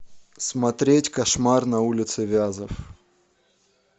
смотреть кошмар на улице вязов